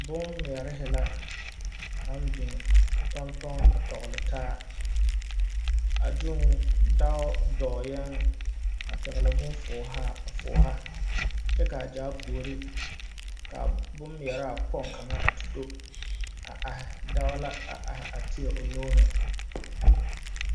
Boŋmeɛre la baŋ biŋ tɔŋ tɔŋ a tɔgle taa a zuŋ dɔɔ dɔɔɛɛŋ a pɛgle boŋ fɔghaa a fɔgha kyɛ kaa gyaa puori ka boŋmeɛraa kpoŋ kaŋ a te do a are dao la a are teɛ o nuuhi.